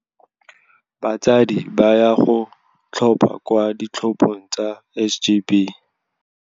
Batsadi ba ya go tlhopha kwa ditlhophong tsa SGB.